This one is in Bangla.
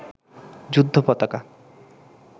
যুদ্ধ পতাকা